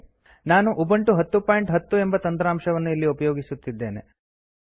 ನಾನು ಉಬಂಟು 1010 ಎಂಬ ತಂತ್ರಾಂಶವನ್ನು ಉಪಯೋಗಿಸುತ್ತಿದ್ದೇನೆ